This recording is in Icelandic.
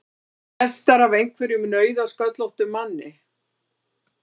Flestar af einhverjum nauðasköllóttum manni!